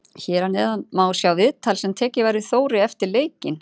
Hér að neðan má sjá viðtal sem tekið var við Þóri eftir leikinn.